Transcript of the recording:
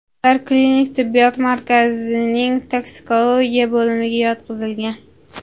Ular klinik tibbiyot markazining toksikologiya bo‘limiga yotqizilgan.